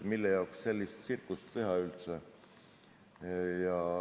Mille jaoks sellist tsirkust teha?